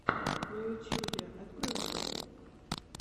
в ютьюбе открой влоги